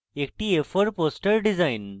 একটি a4 poster design এবং